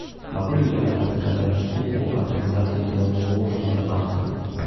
могу ли я заказать услугу организации делового ужина на завтра